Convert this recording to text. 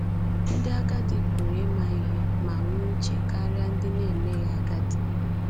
Ndị agadi pụrụ ịma ihe ma nwee uche karịa ndị na-emeghị agadi.